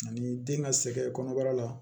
Ani den ka sɛgɛn kɔnɔbara la